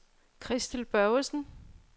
Christel Børgesen